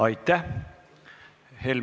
Aitäh!